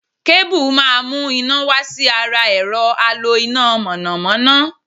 Kébù má mu ́ iná wá sí ara ẹ̀rọ̀ alo iná mọ̀nàmọ́ná.